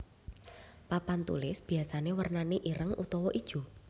Papan tulis biyasané wernané ireng utawa ijo